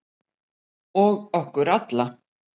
Og okkur alla.